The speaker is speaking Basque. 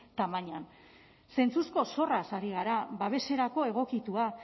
tamainan zentzuzko zorraz ari gara babeserako egokitua